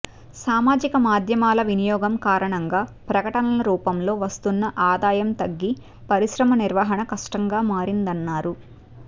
సామాజిక మాధ్యమాల వినియోగం కారణంగా ప్రకటనల రూపంలో వస్తున్న ఆదాయం తగ్గి పరిశ్రమ నిర్వహణ కష్టంగా మారిందన్నారు